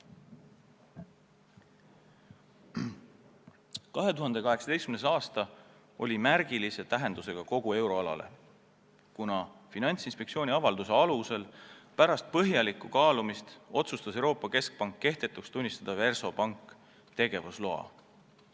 2018. aasta oli märgilise tähendusega kogu euroalale, kuna Finantsinspektsiooni avalduse alusel otsustas Euroopa Keskpank pärast põhjalikku kaalumist kehtetuks tunnistada Versobanki tegevusloa.